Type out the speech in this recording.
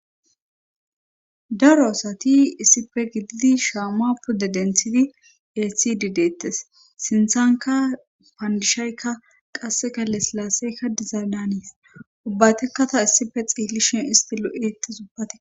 Daro asati issife gididi shaamaa pude denthidi ethi dideettes sinthanka paandishaykka qasse galle silaasseykka dizaadanes ubbatekka ta issife xiillishin isti lo'eeti subbate